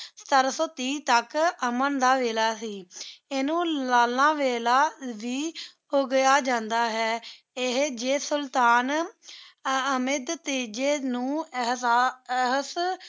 ਸਤਾਰਾਂ ਸੋ ਤੀਹ ਤਕ ਅਮਨ ਦਾ ਵੇਲਾ ਸੇ ਇਨੁ ਲਾਲਾ ਵੇਲਾ ਦੇ ਕਹਾ ਜਾਂਦਾ ਹੈ ਏਹੀ ਜੀ ਸੁਲਤਾਨ ਆਮਦ ਤੀਜੀ ਨੂ ਨੂ ਅਹਸਾਸ